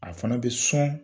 A fana bɛ sɔn